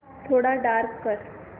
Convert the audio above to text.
थोडा डार्क कर